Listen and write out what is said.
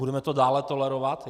Budeme to dále tolerovat?